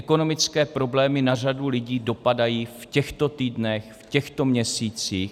Ekonomické problémy na řadu lidí dopadají v těchto týdnech, v těchto měsících.